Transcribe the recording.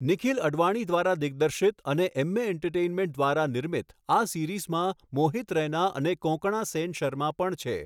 નિખિલ અડવાણી દ્વારા દિગ્દર્શિત અને એમ્મે એન્ટરટેઈનમેન્ટ દ્વારા નિર્મિત, આ સિરીઝમાં મોહિત રૈના અને કોંકણા સેન શર્મા પણ છે.